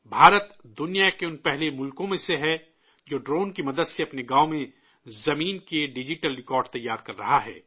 بھارت، دنیا کے ان پہلے ممالک میں سے ہے، جو ڈرون کی مدد سے اپنے گاؤں میں زمین کے ڈجیٹل ریکارڈ تیار کر رہا ہے